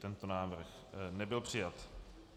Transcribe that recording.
Tento návrh nebyl přijat.